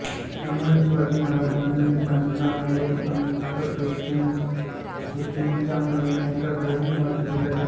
त्यामुळे शिवाजी महाराजांनी त्यांना मोरोपंत पेशव्यांच्या मेहुण्याच्या घरी मथुरेला ठेवले